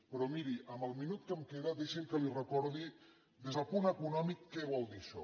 però miri en el minut que em queda deixi’m que li recordi des del punt econòmic què vol dir això